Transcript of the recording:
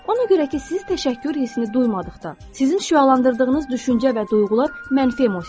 Ona görə ki, siz təşəkkür hissini duymadıqda, sizin şüalandırdığınız düşüncə və duyğular mənfi emosiyalardır.